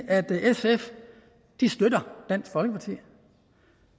at sf støtter dansk folkeparti